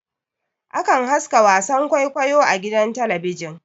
Akan haska wasan kwaikwayo a gidan talabijin